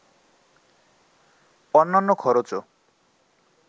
অন্যান্য খরচও